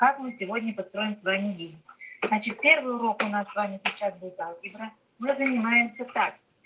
как мы сегодня построим с вами день значит первый урок у нас с вами сейчас будет алгебра мы занимаемся так